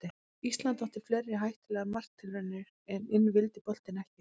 Ísland átti fleiri hættulegar marktilraunir en inn vildi boltinn ekki.